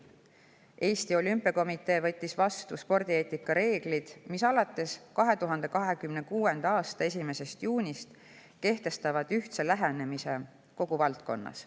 Eesti Olümpiakomitee on võtnud vastu spordieetika reeglid, mis 2026. aasta 1. juunist kehtestavad ühtse lähenemise kogu valdkonnas.